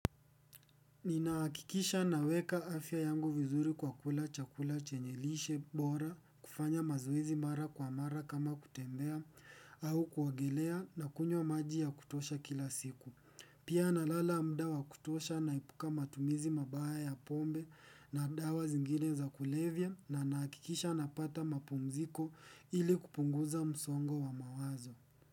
Ninaakikisha naweka afya yangu vizuri kwa kula chakula chenye lishe bora kufanya mazoezi mara kwa mara kama kutembea au kuogelea na kunywa maji ya kutosha kila siku. Pia na lala muda wa kutosha naepuka matumizi mabaya ya pombe na dawa zingine za kulevya na nahikikisha napata mapumziko ili kupunguza msongo wa mawazo.